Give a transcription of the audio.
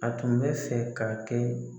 A tun bɛ fɛ ka kɛ.